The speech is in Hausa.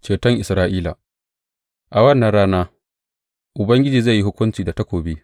Ceton Isra’ila A wannan rana, Ubangiji zai yi hukunci da takobi,